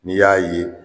N'i y'a ye